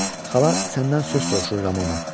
Xala səndən söz soruşur Ramona.